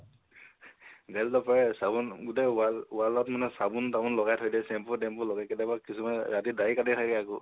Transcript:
গালিটো নাপাৰে, চাবোন, গোটেই wall ত, wall ত মানে চাবোন তাবোন লগাই থৈ দিয়ে । shampoo লগাই থৈ দিয়ে । কিছুমানে ৰাতি দাৰি কাটি থাকে আকৌ